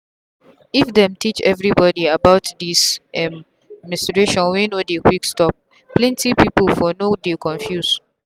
if them teach everybody about this um menstruation wey no dey quick stopplenty people for no dey confuse.